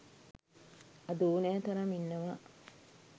අද ඕනෑ තරම් ඉන්නවා.